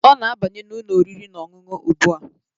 Ọ na-abanye n'ụlọ oriri na ọṅụṅụ ugbua